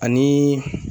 Ani